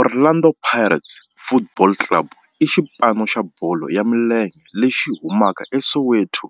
Orlando Pirates Football Club i xipano xa bolo ya milenge lexi humaka eSoweto,